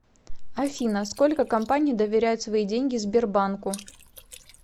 афина сколько компаний доверяют свои деньги сбербанку